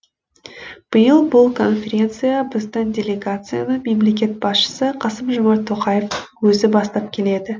биыл бұл конференцияға біздің делегацияны мемлекет басшысы қасым жомарт тоқаевтың өзі бастап келеді